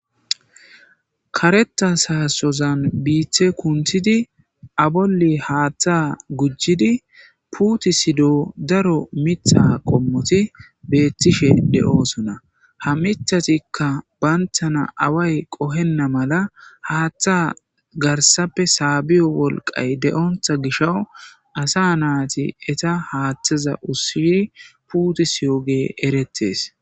Kareththa saassozan biiththee kunththizi a bolli haaththaa gujjidi puuthissido daro miththaa qommothi beeththishee de7oosona ha miththathikka banththana away qohenna mala haaththaa garssape saabiyo wolqqay de7oththa gishawu asaa naathi etha haaththoza ushshidi puuthissiyoogee ereththees.